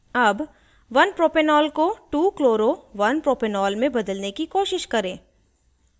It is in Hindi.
अब 1propanol को 2chloro1propanol में बदलने की कोशिश करें